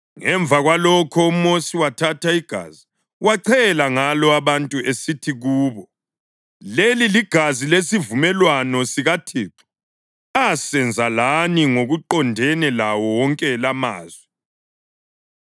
Ngemva kwalokho uMosi wathatha igazi wachela ngalo abantu esithi kubo, “Leli ligazi lesivumelwano sikaThixo asenze lani ngokuqondene lawo wonke lamazwi.”